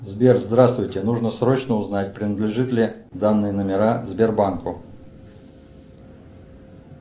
сбер здравствуйте нужно срочно узнать принадлежит ли данные номера сбербанку